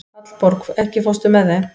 Hallborg, ekki fórstu með þeim?